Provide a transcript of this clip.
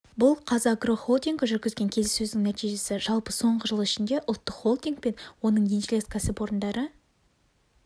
бұл қазагро холдингі жүргізген келіссөздің нәтижесі жалпы соңғы жыл ішінде ұлттық холдинг пен оның еншілес кәсіпорындары